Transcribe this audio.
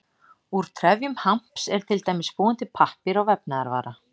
Úr trefjum hamps er til dæmis búinn til pappír og vefnaðarvara.